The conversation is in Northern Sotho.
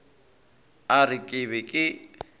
a re ke be ke